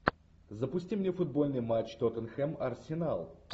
запусти мне футбольный матч тоттенхэм арсенал